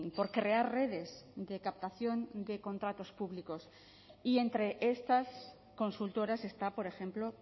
por crear redes de captación de contratos públicos y entre estas consultoras está por ejemplo